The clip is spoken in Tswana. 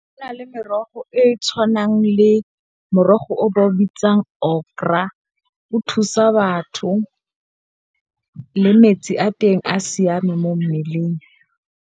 Go na le merogo e e tshwanang le, morogo o ba o bitsang Okra o thusa, batho le metsi a teng a siame mo mmeleng.